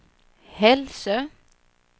Hälsö